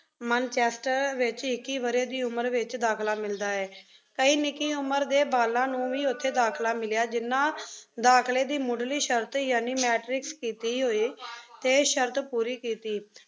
Manchester ਵਿੱਚ ਇੱਕੀ ਵਰ੍ਹੇ ਦੀ ਉਮਰ ਵਿੱਚ ਦਾਖ਼ਲਾ ਮਿਲਦਾ ਏ। ਕਈ ਨਿੱਕੀ ਉਮਰ ਦੇ ਬਾਲਾਂ ਨੂੰ ਵੀ ਉਥੇ ਦਾਖ਼ਲਾ ਮਿਲਿਆ ਜਿਹਨਾਂ ਦਾਖ਼ਲੇ ਦੀ ਮੁੱਢਲੀ ਸ਼ਰਤ ਯਾਨੀ ਮੈਟ੍ਰਿਕ ਕੀਤੀ ਹੋਏ ਅਤੇ ਸ਼ਰਤ ਪੂਰੀ ਕੀਤੀ।